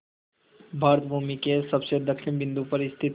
भारत भूमि के सबसे दक्षिण बिंदु पर स्थित